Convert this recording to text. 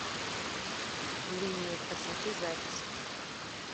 линия красоты запись